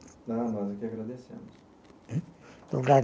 Ah, nós é que agradecemos.